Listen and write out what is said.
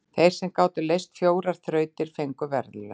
Þeir sem gátu leyst fjórar þrautir fengu verðlaun.